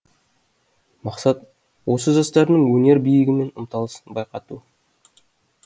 мақсат осы жастардың өнер биігіне ұмтылысын байқату